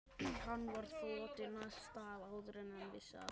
Hann var þotinn af stað áður en hann vissi af.